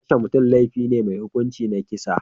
Kashe mutum laifi ne mai hukunci na kisa.